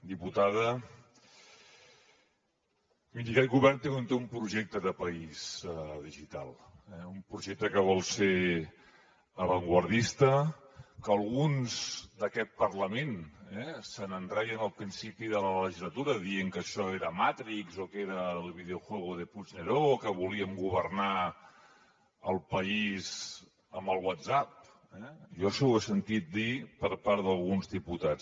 diputada miri aquest govern té un projecte de país digital un projecte que vol ser avantguardista que alguns d’aquest parlament eh se’n reien al principi de la legislatura dient que això era matrix o que era el videojuego de puigneró o que volíem governar el país amb el whatsapp eh jo això ho he sentit dir per part d’alguns diputats